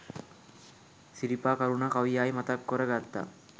සිරිපා කරුනා කවි ආයි මතක් කොර ගත්තා